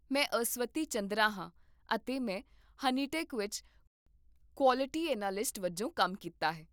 ਮੈਂ ਅਸਵਤੀ ਚੰਦਰਾ ਹਾਂ ਅਤੇ ਮੈਂ ਹਨੀਟੈਕ ਵਿੱਚ ਕੁਆਲਿਟੀ ਐਨਾਲਿਸਟ ਵਜੋਂ ਕੰਮ ਕੀਤਾ ਹੈ